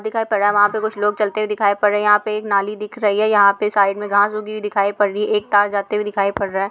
दिखाई पड़ रहा है वहां पे कुछ लोग चलते हुए दिखाई पड़ रहे हैं यहां पे एक नाली दिख रही है यहां पे साइड में घास उगी हुई दिखाई पड़ रही है एक तार जाते हुए दिखाई पड़ रहा है।